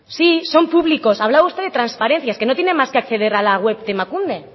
sí son públicos hablaba usted de transparencia es que no tiene más que acceder a la web de emakunde